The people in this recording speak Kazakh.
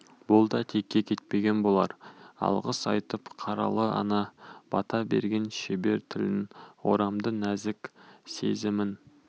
бұл да текке кетпеген болар алғыс айтып қаралы ана бата берген шебер тілін орамды нәзік сезімін